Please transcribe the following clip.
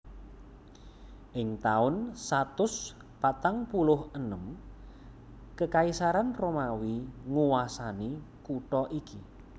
Ing taun satus patang puluh enem Kekaisaran Romawi nguwasani kutha iki